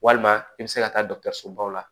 Walima i bɛ se ka taa sobaw la